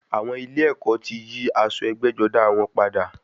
Àwọn ilé ẹ̀kọ́ ti yí aṣọ ẹgbẹ́-jọdá wọn padà.